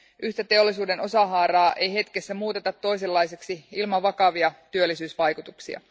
Yhtä teollisuuden osahaaraa ei hetkessä muuteta toisenlaiseksi ilman vakavia työllisyysvaikutuksia.